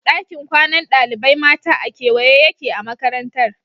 Dakin kwanan ɗalibai mata a kewaye yake a Makarantar